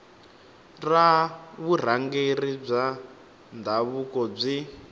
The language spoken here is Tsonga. ra vurhangeri bya ndhavuko byi